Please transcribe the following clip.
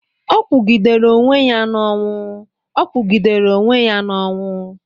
Ọ kwugidere onwe-ya n'onwu, Ọ kwugidere onwe-ya n'onwu.